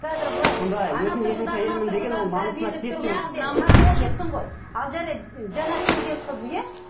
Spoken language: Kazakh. қазір былай ал жарайды жаңа келген қыз иә